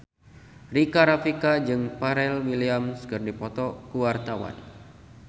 Rika Rafika jeung Pharrell Williams keur dipoto ku wartawan